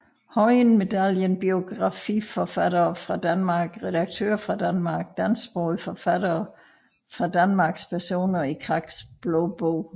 Høyen Medaljen Biografiforfattere fra Danmark Redaktører fra Danmark Dansksprogede forfattere fra Danmark Personer i Kraks Blå Bog